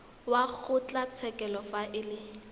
wa kgotlatshekelo fa e le